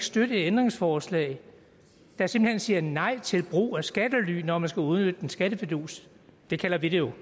støtte et ændringsforslag der simpelt hen siger nej til brug af skattely når man skal udnytte en skattefidus det kalder vi det jo